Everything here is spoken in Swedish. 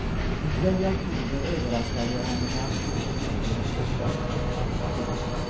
En kväll i oktober överraskade jag henne med att stå på gården och hosta. punkt